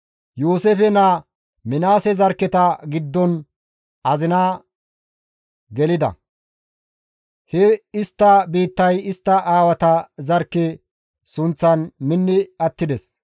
Yooseefe naa Minaase zarkketa giddon azina gelida; he istta biittay istta aawata zarkke sunththan minni attides.